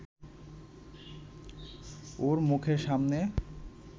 ওর মুখের সামনে